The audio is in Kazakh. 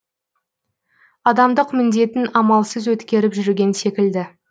адамдық міндетін амалсыз өткеріп жүрген секілді